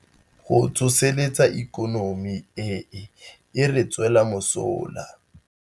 Go tsosolosa ikonomi e e re tswelang mosola.